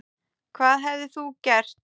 Hvað hefðir þú gert?